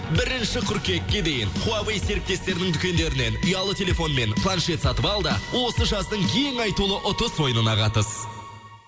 бірінші қыркүйекке дейін хуавэй серіктестерінің дүкендерінен ұялы телефон мен планшет сатып ал да осы жаздың ең айтулы ұтыс ойынына қатыс